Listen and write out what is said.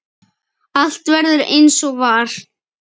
Allt verður eins og var.